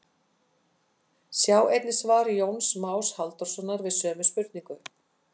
Sjá einnig svar Jóns Más Halldórssonar við sömu spurningu.